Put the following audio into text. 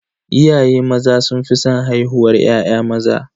Iyaye maza sun fi san haihuwar ya'ya maza.